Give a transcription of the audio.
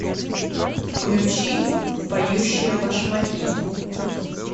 включи поющие башмаки